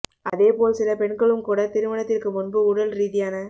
அதே போல் சில பெண்களும் கூட திருமணத்திற்கு முன்பு உடல் ரீதியான